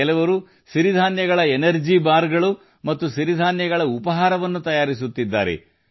ಕೆಲವರು ರಾಗಿ energy bar ಗಳು ಮತ್ತು ರಾಗಿ ಬ್ರೇಕ್ಫಾಸ್ಟ್ಗಳನ್ನು ತಯಾರಿಸುತ್ತಿದ್ದಾರೆ